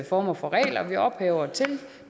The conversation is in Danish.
former for regler